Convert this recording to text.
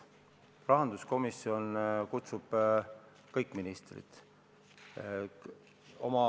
Rahanduskomisjon kutsub kohale kõik ministrid.